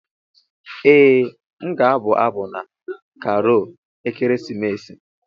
Ee m ga-abụ abụ na Karol ekeresimesi.